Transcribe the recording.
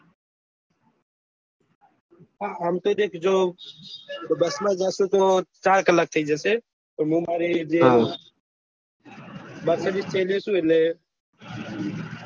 આપતો દેખ બસ માં જયીશું તો ચાર કલાક થઇ જશે તો મેં મારી જે મેર્સીડીસ છે એ લયીશું એટલે